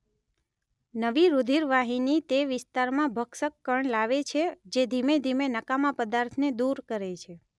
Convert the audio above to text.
નવી રૂધિરવાહીની તે વિસ્તારમાં ભક્ષકકણ લાવે છે જે ધીમે ધીમે નકામા પદાર્થને દૂર કરે છે.